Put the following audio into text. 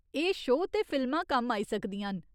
एह् शो ते फिल्मां कम्म आई सकदियां न।